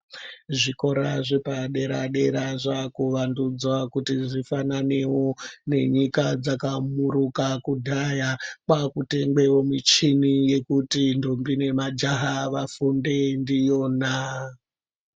Zvikora zvepadera-dera zvakuvandudzwa kuti zvifananevo nenyika dzakamuruka kudhaya. Kwakutengwevo michini yekuti ndombi nemajaha vafunde ndiyona.